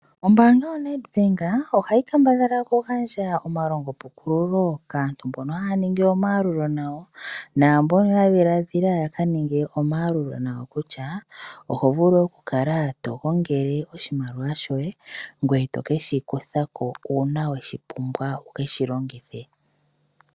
Ombaanga yoNedbank ohayi kambadhala okugandja omalongopukululo kaantu mbono haya ningi omapungulilo nayo naambono ya dhiladhila okuninga omapungulilo nayo kutya oho vulu okukala to gongele oshimaliwa shoye ngoye to ke shi kutha ko uuna wa pumbwa wu ke shi longithe.